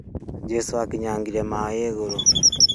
Jesũ akinyangire maĩ igũrũ